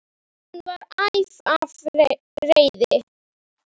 Hún var æf af reiði.